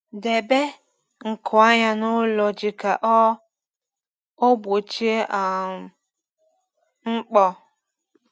Debe nkụ anya n’ụlọ ji ka ọ ọ gbochie um mkpọ.